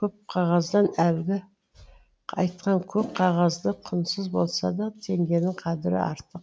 көп қағаздан әлгі айтқан көк қағаздан құнсыз болса да теңгенің қадірі артық